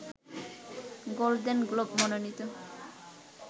golden globe মনোনীত